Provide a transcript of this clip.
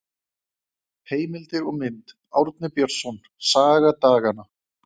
Heimildir og mynd: Árni Björnsson: Saga daganna.